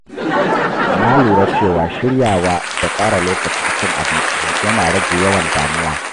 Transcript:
Na lura cewa shiryawa da tsara lokacin cin abinci yana rage yawan damuwa.